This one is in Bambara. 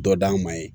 Dɔ d'an ma ye